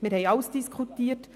Wir haben alles diskutiert.